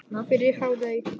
Fyrir hádegi.